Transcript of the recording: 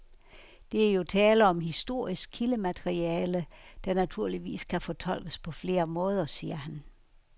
Der er jo tale om historisk kildemateriale, der naturligvis kan fortolkes på flere måder, siger han.